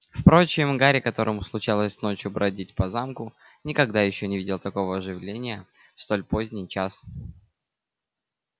впрочем гарри которому случалось ночью бродить по замку никогда ещё не видел такого оживления в столь поздний час